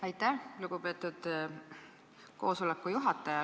Aitäh, lugupeetud juhataja!